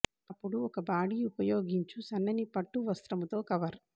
అప్పుడు ఒక బాడీ ఉపయోగించు సన్నని పట్టు వస్త్రము తో కవర్